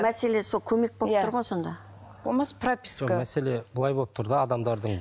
мәселе сол көмек болып тұр ғой сонда болмаса прописка жоқ мәселе былай болып тұр да адамдардың